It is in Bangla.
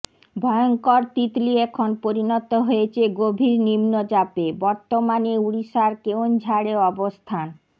ভয়ঙ্কর তিতলি এখন পরিণত হয়েছে গভীর নিম্নচাপে বর্তমানে ওড়িশার কেওনঝাড়ে অবস্থান